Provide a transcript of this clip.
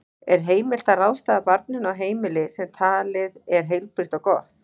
Er heimilt að ráðstafa barninu á heimili sem talið er heilbrigt og gott?